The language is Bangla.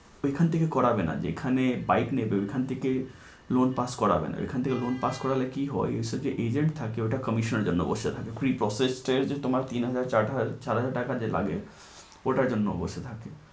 এখান থেকে করাবে না যেখানে বাইক নেবে ওখান থেকে loan pass করবে না। ওইখান থেকে loan pass করালে কি হয়, ওখানে যে agent থাকে ওইটা commission জন্যে pre process তোমার তিন চার হাজার যে টাকা লাগে ওটার জন্য বসে থাকে